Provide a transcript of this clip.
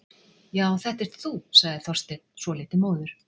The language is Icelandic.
Já, þetta ert þú- sagði Þorsteinn, svolítið móður.